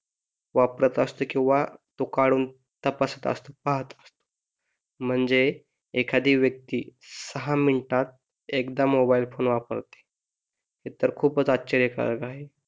वापरत असते किंवा तो काढून तपासत असते पाहत म्हणजे एखादी व्यक्ती सहा मिनटात एकदा मोबाईल फोन वापरते हे तर खूपच आश्चर्यकारक आहे